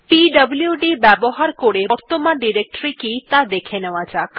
পিডব্লুড ব্যবহার করে বর্তমান ডিরেক্টরী কি ত়া দেখে নেওয়া যাক